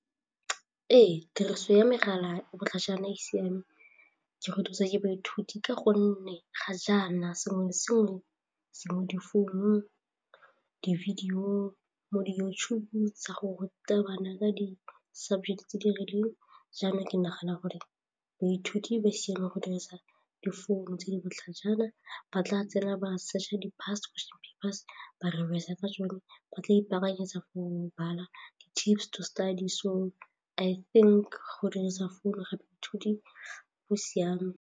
Ee, tiriso ya megala e botlhajana e siame ke go thusa ke baithuti ka gonne ga jaana sengwe le sengwe se mo difounung, di-video, mo di-YouTube-ong tsa go ruta bana ka di-subject tse di rileng jaanong ke nagana gore boithuti ba siame go dirisa difounu tse di botlhajana ba tla tsena ba searcher di past papers ba re ka sone ba tla ipaakanyetsa study so I think go dirisa founu gape baithuti bo siame.